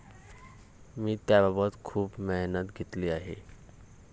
मी त्याबाबत खूप मेहनत घेतली आहे.